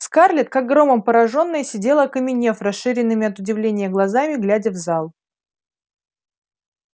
скарлетт как громом поражённая сидела окаменев расширенными от удивления глазами глядя в зал